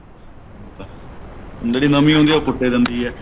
ਜਿਹੜੀ ਨਵੀਂ ਹੁੰਦੀ ਹੈ ਉਹ ਕੁੱਟ ਹੀ ਦਿੰਦੀ ਹੈ